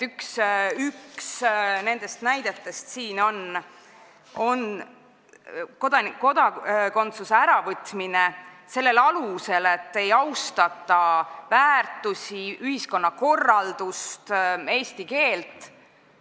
Üks nendest näidetest siin on kodakondsuse äravõtmine sellel alusel, et ei austata meie väärtusi, ühiskonnakorraldust, eesti keelt.